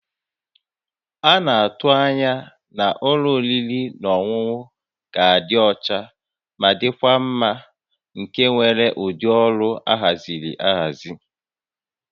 A na-atụ anya na ụlọ oriri na ọṅụṅụ ga-adị ọcha ma dịkwa mma nke nwere ụdị ọrụ ahaziri ahazi